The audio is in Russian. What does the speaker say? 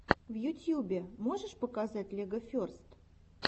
в ютюбе можешь показать легоферст